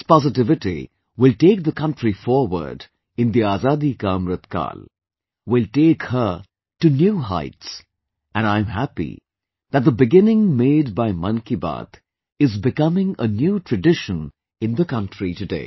This positivity will take the country forward in the Azadi Ka Amritkaal..., will take her to a new heights and I am happy that the beginning made by 'Mann Ki Baat' is becoming a new tradition in the country today